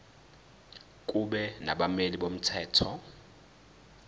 kube nabameli bomthetho